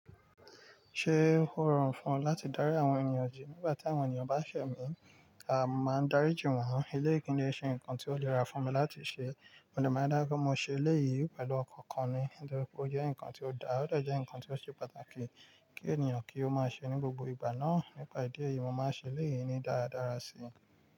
Ṣé ó rọrùn fún ẹ láti dárí àwọn ènìyàn jì nígbà tí àwọn ènìyàn bá ṣẹ̀ mí? Aa mo máa dárí jì wọ́n. Eleyi ki n de ṣe nǹkan tí ó le ra fún mi láti ṣẹ. Mo de máa dá pé mo ṣe eléyìí pẹ̀lú ọkan kan ni, torípé ó jẹ́ ǹkan tí ó daa, ó de je ǹkan tí ó ṣe pàtàkì kí ènìyàn kí ó máa ṣe ní gbogbo ìgbà náà. Nípa ìdí èyí, mo máa ṣe eléyìí ní dáradára sí.